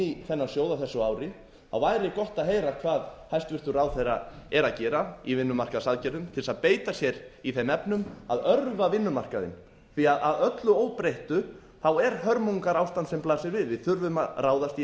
í þennan sjóð á þessu ári þá væri gott að heyra hvað hæstvirtur ráðherra er að gera í vinnumarkaðsaðgerðum til að beita sér í þeim efnum að örva vinnumarkaðinn því að öllu óbreyttu þá er hörmungarástand sem blasir við við þurfum að ráðast í